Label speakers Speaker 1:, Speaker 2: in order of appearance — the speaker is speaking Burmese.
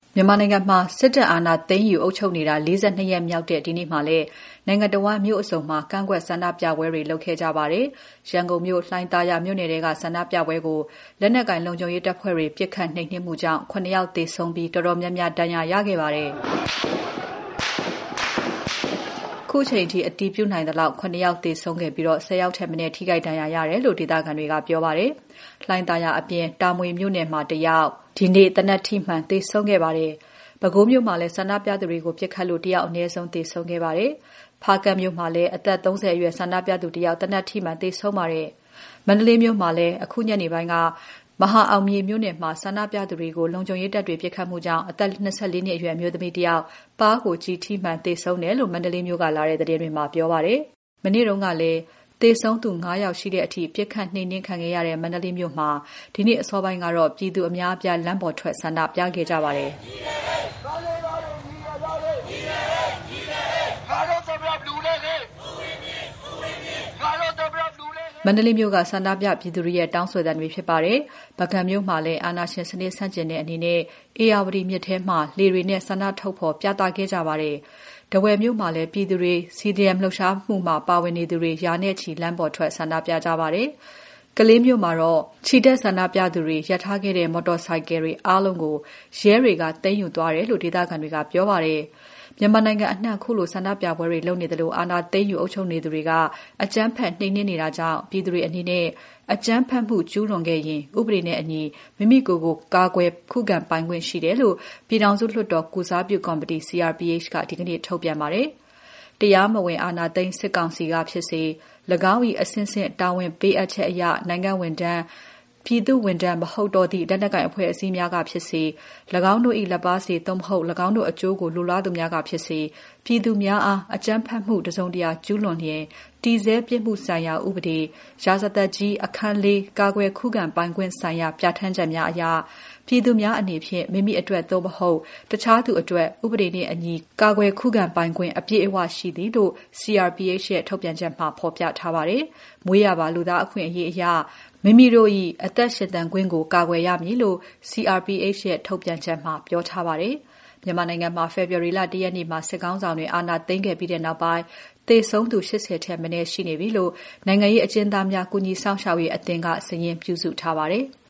Speaker 1: မြန်မာနိုင်ငံမှာ စစ်တပ်အာဏာသိမ်းယူ အုပ်ချုပ်နေတာ ၄၂ ရက်မြောက်တဲ့ ဒီနေ့မှာလည်း နိုင်ငံတဝန်း မြို့အစုံမှာ ကန့်ကွက်ဆန္ဒပြပွဲတွေ လုပ်ခဲ့ကြပါတယ်။ ရန်ကုန်မြို့ လှိုင်သာယာမြို့နယ်ထဲက ဆန္ဒပြပွဲကို လက်နက်ကိုင် လုံခြုံရေးတပ်တွေ ပစ်ခတ်နှိမ်နင်းမှုကြောင့် ၇ ယောက် သေဆုံးပြီး တော်တော်များများ ဒဏ်ရာရခဲ့ပါတယ်။ ခုချိန်အထိ အတည်ပြုနိုင်သလောက် ၇ ယောက်သေဆုံးခဲ့ပြီး ၁၀ ယောက်ထက်မနည်း ထိခိုက်ဒဏ်ရာရတယ်လို့ ဒေသခံတွေက ပြောပါတယ်။ လှိုင်သာယာအပြင် တာမွေမြို့နယ်မှာ ၁ ယောက်၊ ရွှေပြည်သာမြို့နယ်မှာ ၁ ယောက်၊ သင်္ဃန်းကျွန်းမြို့နယ်မှာ ၁ ယောက် ဒီနေ့ သေနတ်ထိမှန် သေဆုံးခဲ့ပါတယ်။ ပဲခူးမြို့မှာလည်း ဆန္ဒပြသူတွေကို ပစ်ခတ်လို့ အနည်းဆုံး ၁ ယောက် သေဆုံးခဲ့ပါတယ်။ ဖားကန့်မြို့မှာလည်း အသက် ၃၀ အရွယ် ဆန္ဒပြသူတယောက် သေနတ်ထိမှန် သေဆုံးခဲ့ပါတယ်။ မန္တလေးမြို့မှာလည်း အခုညနေပိုင်းက မဟာအောင်မြေမြို့နယ်မှာ ဆန္ဒပြနေသူတွေကို လုံခြုံရေးတပ်တွေ ပစ်ခတ်မှုကြောင့် အသက် ၂၄ နှစ်အရွယ် အမျိုးသမီးတယောက် ပါးကို ကျည်ထိမှန် သေဆုံးခဲ့တယ်လို့ မန္တလေးမြို့ကလာတဲ့ သတင်းတွေက ပြောပါတယ်။ မနေ့ကလည်း သေဆုံးသူ ၅ ယောက်ရှိတဲ့အထိ ပစ်ခတ်နှိမ်နင်းခံရတဲ့ မန္တလေးမြို့မှာတော့ ဒီနေ့အစောပိုင်းကတော့ ပြည်သူအများအပြား လမ်းပေါ်ထွက် ဆန္ဒပြခဲ့ကြပါတယ်။ ပုဂံမြို့မှာလည်း အာဏာရှင်စနစ် ဆန့်ကျင်တဲ့အနေနဲ့ ဧရာဝတီမြစ်ထဲမှာ လှေတွေနဲ့ ဆန္ဒထုတ်ဖော် ပြသခဲ့ကြပါတယ်။ ထားဝယ်မြို့မှာလည်း ပြည်သူတွေ CDM လှုပ်ရှားမှုမှာ ပါဝင်သူတွေ ရာနဲ့ချီ လမ်းပေါ်ထွက် ဆန္ဒပြကြပါတယ်။ ကလေးမြို့မှာတော့ ချီတက်ဆန္ဒပြသူတွေ ရပ်ထားခဲ့တဲ့ မော်တော်ဆိုင်ကယ်တွေ အားလုံးကို ရဲတွေက သိမ်းယူသွားတယ်လို့ ဒေသခံတွေက ပြောပါတယ်။ မြန်မာနိုင်ငံအနှံ့ ခုလို ဆန္ဒပြပွဲတွေ လုပ်နေသလို အာဏာသိမ်းယူ အုပ်ချုပ်နေသူတွေက အကြမ်းဖက် နှိမ်နင်းနေတာကြောင့် ပြည်သူတွေအနေနဲ့ အကြမ်းဖက်မှု ကျူးလွန်ခံရရင် ဥပဒေနှင့်အညီ မိမိကိုယ်ကို ကာကွယ်ခုခံပိုင်ခွင့် ရှိတယ်လို့ ပြည်ထောင်စုလွှတ်တော် ကိုယ်စားပြုကော်မတီ (CRPH) က ဒီနေ့ ထုတ်ပြန်ပါတယ်။ “တရားမဝင် အာဏာသိမ်း စစ်ကောင်စီကဖြစ်စေ၊ ၎င်း၏ အဆင့်ဆင့် တာဝန်ပေးအပ်ချက်အရ နိုင်ငံ့ဝန်ထမ်း၊ ပြည်သူ့ဝန်ထမ်း မဟုတ်တော့သည့် လက်နက်ကိုင် အဖွဲ့အစည်းများကဖြစ်စေ၊ ၎င်းတို့၏ လက်ပါးစေ သို့မဟုတ် ၎င်းတို့အကျိုး လိုလားသူများကဖြစ်စေ ပြည်သူများအား အကြမ်းဖက်မှု တစုံတရာ ကျူးလွန်လျှင် တည်ဆဲပြစ်မှုဆိုင်ရာဥပဒေ၊ ရာဇသတ်ကြီး၊ အခန်း (၄) ကာကွယ်ခုခံပိုင်ခွင့်ဆိုင်ရာ ပြဋ္ဌာန်းချက်များအရ ပြည်သူများအနေဖြင့် မိမိအတွက် သို့မဟုတ် အခြားသူအတွက် ဥပဒေနှင့်အညီ ကာကွယ်ခုခံပိုင်ခွင့် အပြည့်အဝရှိသည်” လို့ CRPH ရဲ့ ထုတ်ပြန်ချက်မှာ ဖော်ပြထားပါတယ်။ မွေးရာပါ လူသားအခွင့်အရေးအရ မိမိတို့၏ အသက်ရှင်သန်ခွင့်ကို ကာကွယ်ရမည်လို့ CRPH ရဲ့ ထုတ်ပြန်ချက်မှာ ပြောထားပါတယ်။ မြန်မာနိုင်ငံမှာ ဖေဖော်ဝါရီလ ၁ ရက်မှာ စစ်ခေါင်းဆောင်တွေ အာဏာသိမ်းခဲ့ပြီးနောက်ပိုင်း သေဆုံးသူ ၈၀ ထက်မနည်း ရှိနေပြီလို့ နိုင်ငံရေးအကျဉ်းသားများ ကူညီစောင့်ရှောက်ရေးအသင်းက စာရင်းပြုစုထားပါတယ်။